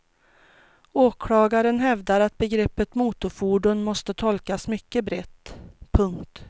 Åklagaren hävdar att begreppet motorfordon måste tolkas mycket brett. punkt